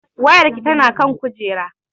Wayarki tana kan kujera